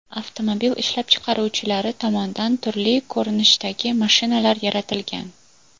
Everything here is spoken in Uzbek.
Avtomobil ishlab chiqaruvchilari tomonidan turli ko‘rinishdagi mashinalar yaratilgan.